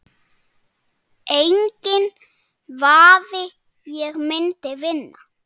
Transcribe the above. Enginn vafi, ég myndi vinna